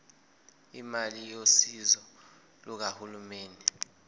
imali yosizo lukahulumeni